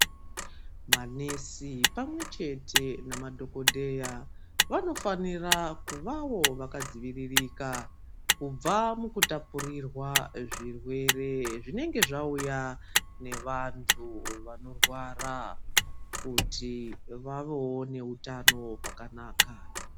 Manesi pamwe chete nemadhokodheya vanofanira kunge vakadzivirika kubva mukutapurirwa zvirwere zvinenge zvauya nevantu Vanorwara kuti vavewo nehutano hwakanaka.